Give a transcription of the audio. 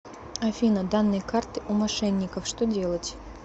афина данные карты у мошенников что делать